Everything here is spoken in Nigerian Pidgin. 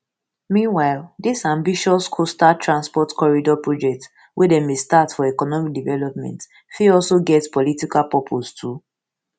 meanwhile dis ambitious coastal transport corridor project wey dem bin start for economic development fit also get political purpose too